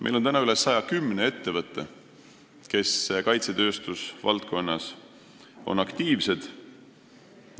Meil on üle 110 ettevõtte, kes kaitsetööstuse valdkonnas aktiivsed on.